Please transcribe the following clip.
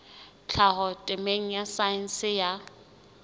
tlhaho temeng ya saense ya